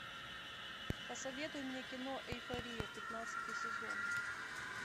посоветуй мне кино эйфория пятнадцатый сезон